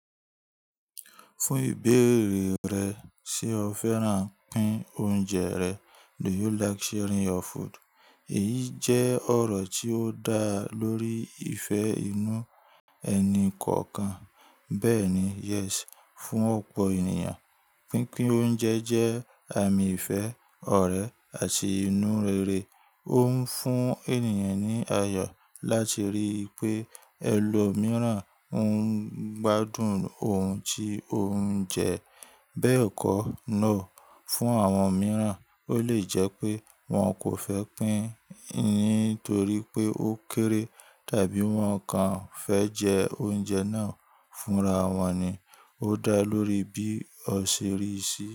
Fún ìbéèrè rẹ̀, ṣe o fẹ́ràn pín oúnjẹ rẹ? Do you like sharing your food? Èyí jẹ́ ọ̀rọ̀ tí ó dá lórí ìfẹ́ inú ẹni kọ̀ọ̀kan. Bẹ́ẹ̀ ni, "Yes" fún ọ̀pọ̀ ènìyàn, pínpín oúnjẹ jẹ́ àmì ìfẹ́, ọ̀rẹ́, àti inú rere. Ó ń fún ènìyàn ní ayọ̀ láti rí i pé ẹlòmíràn ń gbádùn ohun tí ó ń jẹ. Bẹ́ẹ̀ kọ́, "No" fún àwọn mìíràn, ó lè jẹ́ pé wọ́n kò fẹ́ pín nítorí pé ó kéré tàbí wọ́n kàn fẹ́ jẹ oúnjẹ náà fúnra wọn ni. Ó dá lórí bí o ṣe rí i sí.